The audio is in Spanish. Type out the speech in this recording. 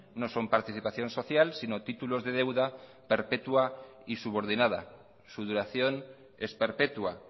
no son participación social sino títulos de deuda perpetua y subordinada su duración es perpetua